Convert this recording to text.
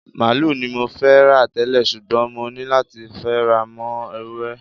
Màálù ni mo fẹ́ rà tẹ́lẹ̀, ṣùgbọ́n mo ní láti fara mọ́ Ewúré.